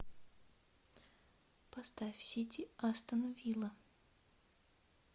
поставь сити астон вилла